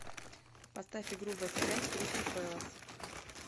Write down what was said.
поставь игру вест хэм с кристал пэлас